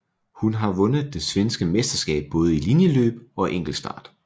Hun har vundet det svenske mesterskab både i linjeløb og enkeltstart